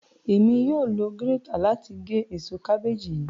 Emi yóò lo girètạ làti gé ésò kàbèeji yii.